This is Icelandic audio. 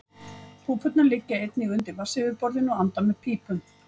Púpurnar liggja einnig undir vatnsyfirborðinu og anda með pípum.